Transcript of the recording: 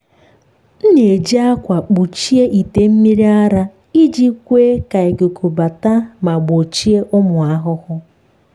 m na-eji akwa kpuchie ite mmiri ara iji kwe ka ikuku bata ma gbochie ụmụ ahụhụ.